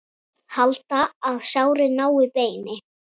Halda, að sárið nái beini.